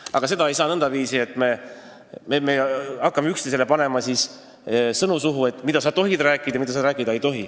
Aga seda ei saa teha nõndaviisi, et me hakkame panema üksteisele sõnu suhu, mida sa tohid või ei tohi rääkida.